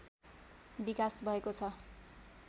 विकास भएको छ